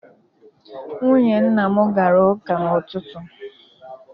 Nwunye nna m gara ụka n'ụtụtụ.